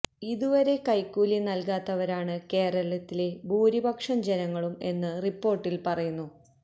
ഇതുവരെ കൈക്കൂലി നല്കാത്തവരാണ് കേരളത്തിലെ ഭൂരിപക്ഷം ജനങ്ങളും എന്ന് റിപ്പോര്ട്ടില് പറയുന്നു